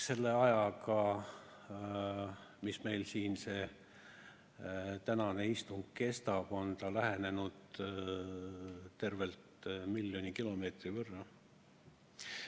Selle ajaga, mis meil tänane istung kestab, on ta lähenenud tervelt miljoni kilomeetri võrra.